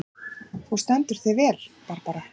Þú stendur þig vel, Barbara!